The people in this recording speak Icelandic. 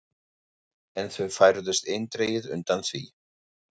En þau færðust eindregið undan því.